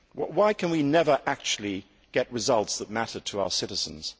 Why can we never actually get results that matter to our citizens?